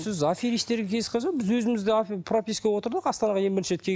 сіз аферистерге кездесіп қалса біз өзіміз де пропискаға отырдық астанаға ең бірінші рет